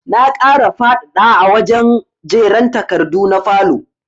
Na ƙara faɗaɗ a wajen jera takardu na falow